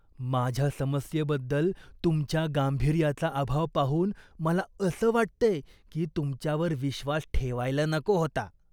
माझ्या समस्येबद्दल तुमच्या गांभीर्याचा अभाव पाहून मला असं वाटतंय की मी तुमच्यावर विश्वास ठेवायला नको होता.